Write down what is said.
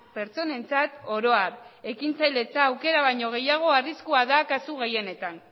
pertsonentzat oro har ekintzailetza aukera baino gehiago arriskua da kasu gehienetan